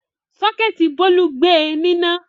Sọ́kẹ́tì Bólú gbe níná.